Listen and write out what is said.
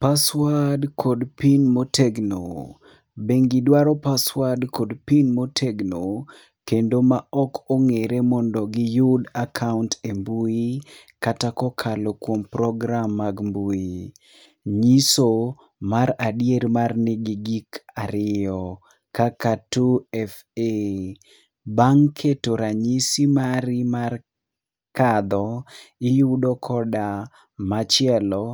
paswad kod pin motegno, bengi dwaro paswad kod pin motegno kendo ma ok ong'ere mondo giyud akaunt e mbui kata kokalo kuom program mag mbui ,nyiso mar adier mar ni gi gik ariyo kaka 2fa bang' keto ranyisi mari mar kadho iyudo koda machielo